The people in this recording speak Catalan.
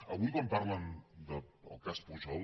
avui quan parlen del cas pujol